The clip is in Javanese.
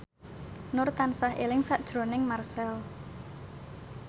Nur tansah eling sakjroning Marchell